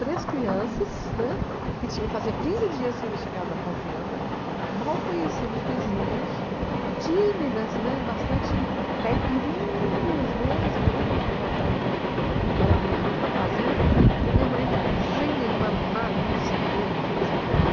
Três crianças, né, que tinha fazia quinze dias que tínhamos chegado da fazenda, mal conhecíamos vizinhos, tímidas, né, bastante caipirinhas mesmo, né, porque nós éramos morávamos na fazenda, e a minha mãe, sem nenhuma malícia mesmo de pensar que nós